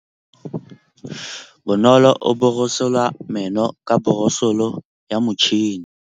Bonolô o borosola meno ka borosolo ya motšhine.